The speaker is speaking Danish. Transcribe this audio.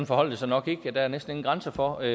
forholder det sig nok ikke der er næsten ingen grænser for